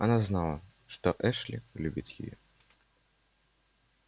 она знала что эшли любит её